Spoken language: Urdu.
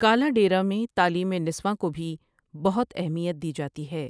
کالا ڈیرہ میں تعلیم نسواں کو بھی بہت اہمیت دی جاتی ہے ۔